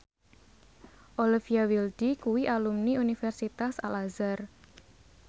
Olivia Wilde kuwi alumni Universitas Al Azhar